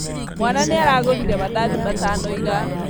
Mwana nĩaragũrire mandathi matano ira